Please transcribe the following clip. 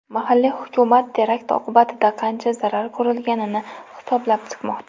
Mahalliy hukumat terakt oqibatida qancha zarar ko‘rilganini hisoblab chiqmoqda.